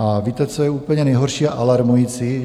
A víte, co je úplně nejhorší a alarmující?